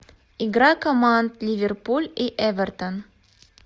игра команд ливерпуль и эвертон